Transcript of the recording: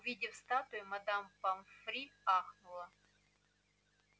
увидев статую мадам помфри ахнула